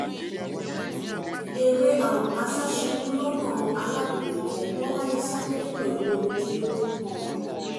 eré um àṣàṣubùú-lọ́nà labílékọ bọ́lajì sá délẹ̀ pẹ̀lú omijé lójú um